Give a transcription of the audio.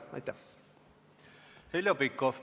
Heljo Pikhof.